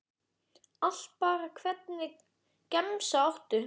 Allt bara Hvernig gemsa áttu?